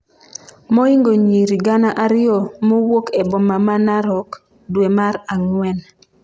moingo nyiri gana ariyo mowuok e boma ma Narok, dwe mar ang'wen